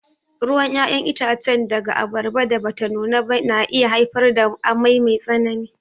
Ruwan ƴaƴan itace daga abarbar da bata nuna ba na iya haifar da amai mai tsanani.